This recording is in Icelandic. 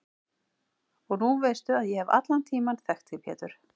Og nú veistu að ég hef allan tímann þekkt þig Pétur.